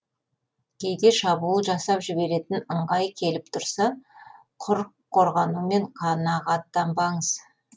кейде шабуыл жасап жіберетін ыңғай келіп тұрса құр қорғанумен қанағаттанбаңыз